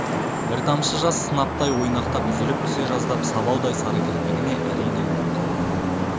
бір тамшы жас сынаптай ойнақтап үзіліп түсе жаздап сабаудай сары кірпігіне әрең ілініп қалыпты